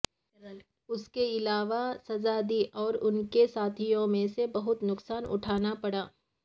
اس کے علاوہ سزا دی اور ان کے ساتھیوں میں سے بہت نقصان اٹھانا پڑا